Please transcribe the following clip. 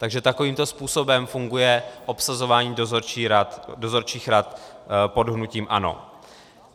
Takže takovýmto způsobem funguje obsazování dozorčích rad pod hnutím ANO.